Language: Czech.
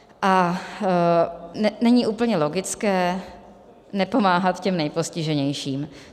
A není úplně logické nepomáhat těm nejpostiženějším.